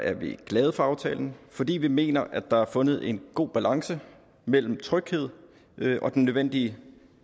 er vi glade for aftalen fordi vi mener at der er fundet en god balance mellem tryghed og den nødvendige